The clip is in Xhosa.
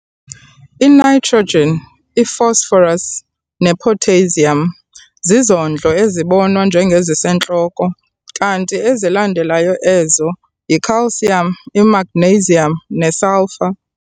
I-Nitrogen, i-phosphorus ne-potassium zizondlo ezibonwa njengezisentloko kanti ezilandela ezo yi-calcium, i-magnesium ne-Sulphur.